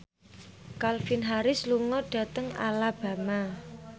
Calvin Harris lunga dhateng Alabama